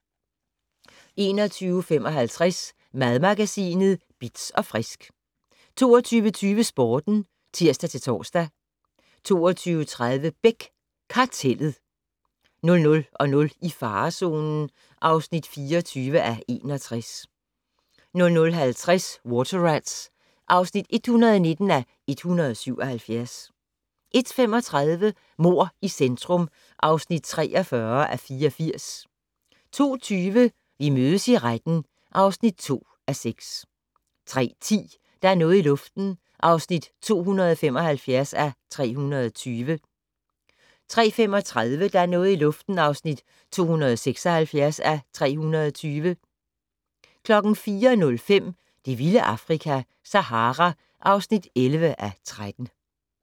21:55: Madmagasinet Bitz & Frisk 22:20: Sporten (tir-tor) 22:30: Beck: Kartellet 00:00: I farezonen (24:61) 00:50: Water Rats (119:177) 01:35: Mord i centrum (43:84) 02:20: Vi mødes i retten (2:6) 03:10: Der er noget i luften (275:320) 03:35: Der er noget i luften (276:320) 04:05: Det vilde Afrika - Sahara (11:13)